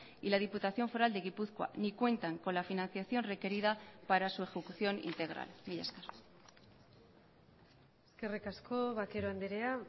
y la diputación foral de gipuzkoa ni cuentan con la financiación requerida para su ejecución integral mila esker eskerrik asko vaquero andrea